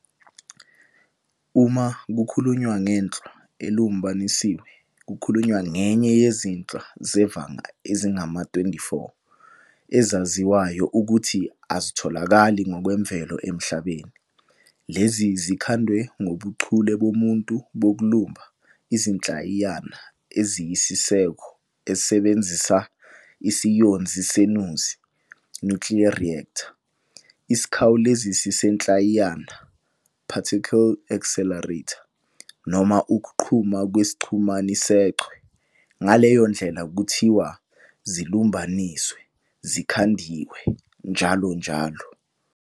Uma kukhulunywa ngenhlwa elumbanisiwe kukhulunywa ngenye yezinhlwa zevanga ezingama-24 ezaziwayo ukuthi azitholakali ngokwemvelo emhlabeni - lezi zikhandwe ngobuchule bomuntu bokulumba izinhlayiyana eziyisiseko esebenzisa isiyonzi senuzi, "nuclear reactor", isiKhawulezisi sezinhlayiyana, "particle accelerator", noma ukuqhuma kwesiqhumani seChwe, ngaleyondlela, kuthiwa "zilumbaniswe", "zikhandiwe" njll.